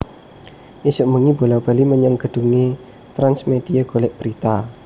Isuk mbengi bola bali menyang gedhunge Trans Media golek berita